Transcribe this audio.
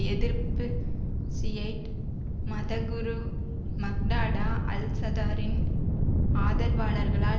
எதிர்ப்பு ஷியைட் மத குரு மக்டாடா அல் சதாரின் ஆதரவாளர்களால்